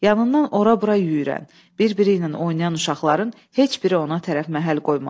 Yanından ora-bura yüyürən, bir-biri ilə oynayan uşaqların heç biri ona tərəf məhəl qoymadı.